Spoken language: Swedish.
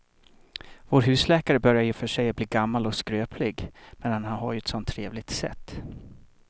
Vår husläkare börjar i och för sig bli gammal och skröplig, men han har ju ett sådant trevligt sätt!